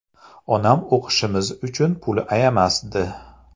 Onam o‘qishimiz uchun pul ayamasdi.